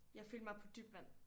Jeg følte mig på dybt vand